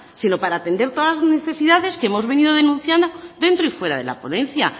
sino para atender todas las necesidades que hemos venido denunciando dentro y fuera de la ponencia